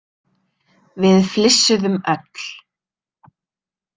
Við flissuðum öll.